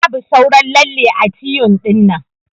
Babu sauran lalle ã tyun dinnan.